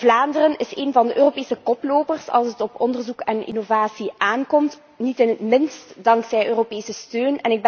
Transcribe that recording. Vlaanderen is één van de Europese koplopers als het op onderzoek en innovatie aankomt, niet het minst dankzij Europese steun.